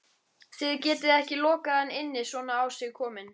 Þið getið ekki lokað hann inni svona á sig kominn